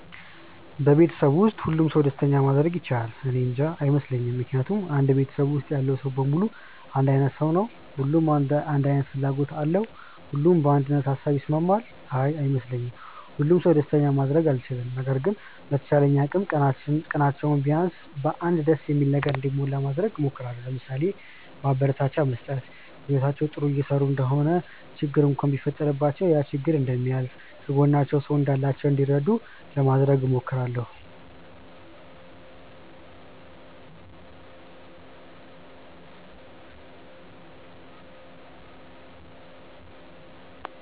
በቤተሰብ ውስጥ ሁሉንም ሰው ደስተኛ ማድረግ ይቻላል? እኔንጃ። አይመስለኝም ምክንያቱም አንድ ቤተሰብ ውስጥ ያለው ሰው በሙሉ አንድ አይነት ሰው ነው? ሁሉም አንድ አይነት ፍላጎት አለው? ሁሉም በአንድ ሃሳብ ይስማማል? አይ አይመስለኝም። ሁሉንም ሰው ደስተኛ ማድረግ አልችልም። ነገር ግን በተቻለኝ አቅም ቀናቸው ቢያንስ በ አንድ ደስ በሚል ነገር እንዲሞላ ለማድረግ እሞክራለው። ለምሳሌ፦ ማበረታቻ መስጠት፣ በህይወታቸው ጥሩ እየሰሩ እንደሆነ ችግር እንኳን ቢፈጠረባቸው ያ ችግር እንደሚያልፍ፣ ከጎናቸው ሰው እንዳላቸው እንዲረዱ ለማድረግ እሞክራለው።